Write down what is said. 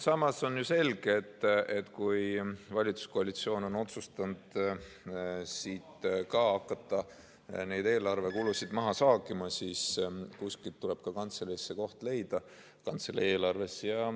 Samas on selge, et kui valitsuskoalitsioon on otsustanud hakata eelarvekulusid maha saagima, siis tuleb ka kantseleis leida see koht oma eelarves.